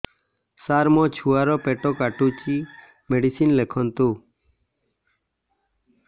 ସାର ମୋର ଛୁଆ ର ପେଟ କାଟୁଚି ମେଡିସିନ ଲେଖନ୍ତୁ